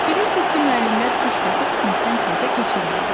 Bilirsiniz ki, müəllimlər püşk atıb sinifdən sinifə keçirmirlər.